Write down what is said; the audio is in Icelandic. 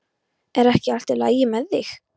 Er ekki allt í lagi með þig?